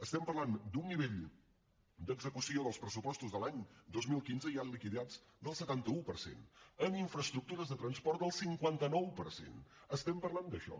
estem parlant d’un nivell d’execució dels pressupostos de l’any dos mil quinze ja liquidats del setanta un per cent en infraestructures de transport del cinquanta nou per cent estem parlant d’això